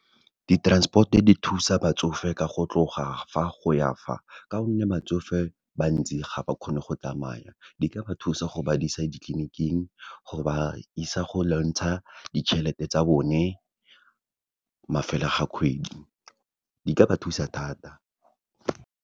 Di-transport-o di thusa batsofe ka go tloga fa, go ya fa, ka gonne batsofe bantsi ga ba kgone go tsamaya. Di ka ba thusa go ba isa ditleniking, go ba isa go lwantsha ditjhelete tsa bone, mafelo ga kgwedi. Di ka ba thusa thata.